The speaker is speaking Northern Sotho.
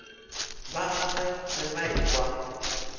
ba gagwe ge ba ekwa